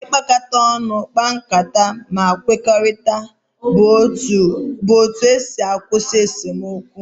Ibiakata onu kpa nkata ma kwekorita bu otu esi akwusi esomokwu.